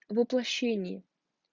воплощений